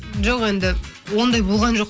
жоқ енді ондай болған жоқ